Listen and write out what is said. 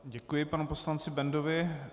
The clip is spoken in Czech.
Děkuji panu poslanci Bendovi.